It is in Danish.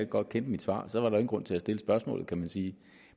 godt kender mit svar så var der grund til at stille spørgsmålet kan man sige